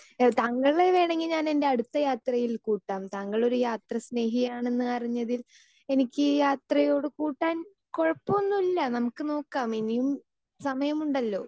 speaker 2 താങ്കളെ വേണമെങ്കിൽ ഞാൻ എൻ്റെ അടുത്ത യാത്രയിൽ കൂട്ടാം താങ്കളൊരു യാത്ര സ്നേഹിയാണെന്നറിഞ്ഞതിൽ എനിക്ക് യാത്രയോട് കൂട്ടാൻ കുഴപ്പമൊന്നുമില്ല നമുക്ക് നോക്കാം ഇനിയും സമയമുണ്ടല്ലോ